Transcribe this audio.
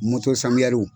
Moto sani